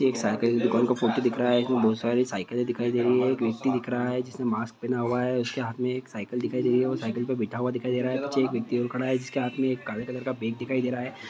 एक साइकिल की दुकान का फोटो दिख रहा है जिसमे बहोत सारी साइकिल दिखाई दे रही है। एक व्यक्ति दिख रहा है जिसने मास्क पहना हुआ है। उसके हाथ में एक साइकिल दिखाई दे रही है। वो साइकिल पे बैठा हुआ दिखाई दे रहा है। पीछे एक व्यक्ति और खड़ा है जिसके हाथ में एक काले कलर का बेग दिखाई दे रहा है।